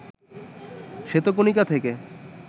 শ্বেতকণিকা থেকে